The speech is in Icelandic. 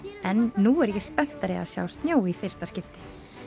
en nú er ég spenntari að sjá snjó í fyrsta skipti